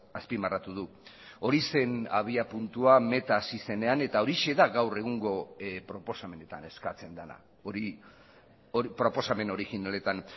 azpimarratu du hori zen abiapuntua meta hasi zenean eta horixe da gaur egungo proposamenetan eskatzen dena hori proposamen originaletan